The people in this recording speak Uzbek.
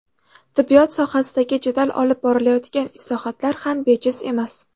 Tibbiyot sohasidagi jadal olib borilayotgan islohotlar ham bejiz emas.